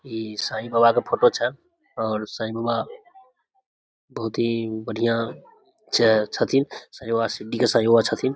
इ साई बाबा के फोटो छै और साई बाबा बहुत ही बढियाँ छै छथीन साई बाबा सीडरी के साई बाबा छथीन